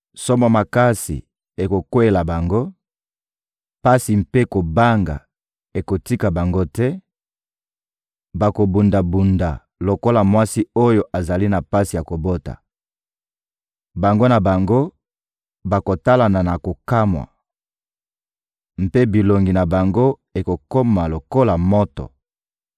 Somo makasi ekokweyela bango, pasi mpe kobanga ekotika bango te; bakobunda-bunda lokola mwasi oyo azali na pasi ya kobota. Bango na bango bakotalana na kokamwa mpe bilongi na bango ekokoma lokola moto.